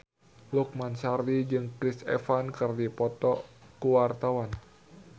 Lukman Sardi jeung Chris Evans keur dipoto ku wartawan